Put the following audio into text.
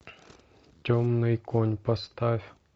темный конь поставь